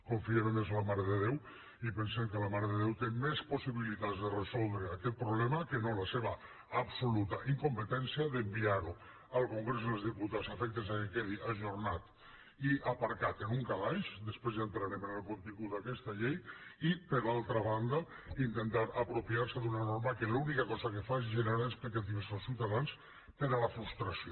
confiem més en la mare de déu i pensem que la mare de déu té més possibilitats de resoldre aquest problema que no la seva absoluta incompetència d’enviar ho al congrés dels diputats a efectes que quedi ajornat i aparcat en un calaix després ja entrarem en el contingut d’aquesta llei i per altra banda intentar apropiar se d’una norma que l’única cosa que fa és generar expectatives als ciutadans per a la frustració